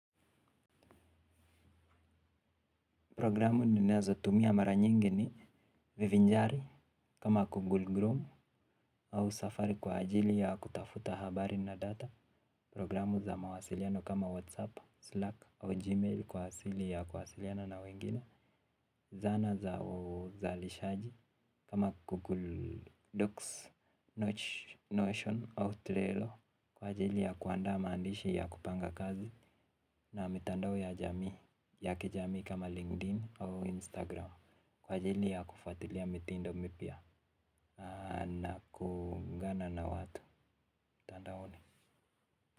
Programu ninazo tumia mara nyingi ni vivinjari kama Google Chrome au safari kwa ajili ya kutafuta habari na data. Programu za mawasiliano kama WhatsApp, Slack au Gmail kwa ajili ya kwasiliana na wengine. Zana za uzalishaji kama Google Docs, Notion au Trello kwa ajili ya kuandaa maandishi ya kupanga kazi na mitandao ya jamii ya kijami kama LinkedIn au Instagram. Kwa ajili ya kufatilia mitindo mipya na kuungana na watu mitandaoni.